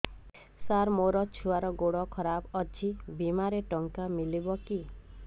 ସାର ମୋର ଛୁଆର ଗୋଡ ଖରାପ ଅଛି ବିମାରେ ଟଙ୍କା ମିଳିବ କି